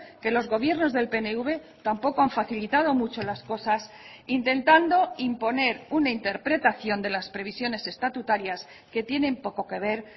que los gobiernos del pnv tampoco han facilitado mucho las cosas intentando imponer una interpretación de las previsiones estatutarias que tienen poco que ver